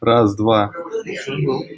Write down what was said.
раз два